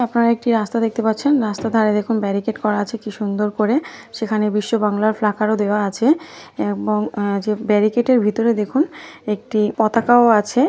আপনারা একটি রাস্তা দেখতে পাচ্ছেন। রাস্তার ধরে দেখুন বেরিকেট করা আছে কি সুন্দর করে। সেখানে বিশ্ব বাংলা ফ্লাকার ও দেওয়া আছে এবং যে বেরিকেটের ভিতরের দেখুন একটি পতাকাও আছে।